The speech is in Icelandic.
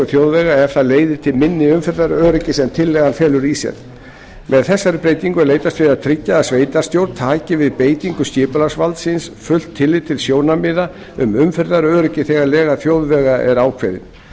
þjóðvega ef það leiðir til minna umferðaröryggis en tillagan felur í sér með þessari breytingu er leitast við að tryggja að sveitarstjórn taki við beitingu skipulagsvalds síns fullt tillit til sjónarmiða um umferðaröryggi þegar lega þjóðvega er ákveðin